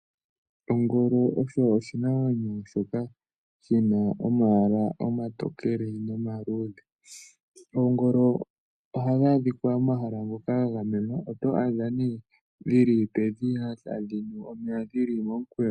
Ongolo osho oshinamwenyo shoka shina omayala omatokele nomaluudhe. Oongolo ohadhi adhika momahala ngoka ga gamenwa. Oto adha nee dhili pedhiya tadhi nu omeya dhili momukweyo.